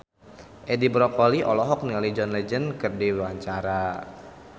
Edi Brokoli olohok ningali John Legend keur diwawancara